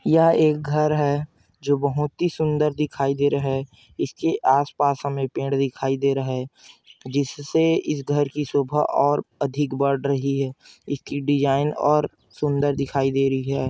यह एक घर है जो बहुत ही सुंदर दिखाई दे रहा है इसके आसपास हमें पेड़ दिखाई दे रहा है जिससे इस घर की शोभा और अधिक बढ़ रही है इसकी डिजाइन और सुंदर दिखाई दे री है।